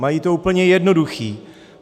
Mají to úplně jednoduché.